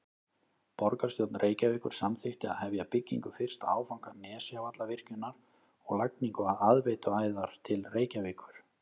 Borgarstjórn Reykjavíkur samþykkti að hefja byggingu fyrsta áfanga Nesjavallavirkjunar og lagningu aðveituæðar til Reykjavíkur.